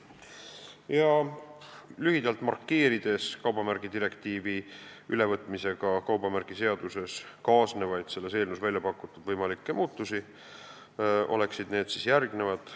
Kui lühidalt markeerida kaubamärgidirektiivi ülevõtmisega kaubamärgiseaduses kaasnevaid ja selles eelnõus väljapakutud võimalikke muutusi, siis need on järgmised.